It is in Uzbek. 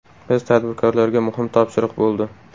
Biz tadbirkorlarga muhim topshiriq bo‘ldi.